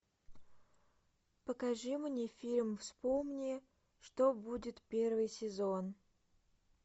покажи мне фильм вспомни что будет первый сезон